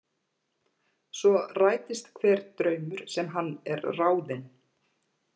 Svo rætist hver draumur sem hann er ráðinn.